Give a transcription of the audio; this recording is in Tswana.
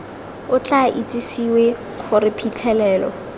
o tla itsisiwe gore phitlhelelo